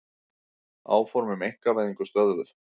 Áform um einkavæðingu stöðvuð